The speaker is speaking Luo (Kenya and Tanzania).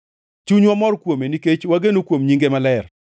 Chunywa mor kuome, nikech wageno kuom nyinge maler.